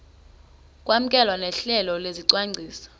kwamkelwe nohlelo lwesicwangciso